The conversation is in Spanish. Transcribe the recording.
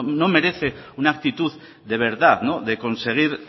no merece una actitud de verdad de conseguir